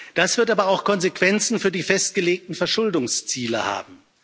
Das wird aber auch Konsequenzen für die festgelegten Verschuldungsziele haben.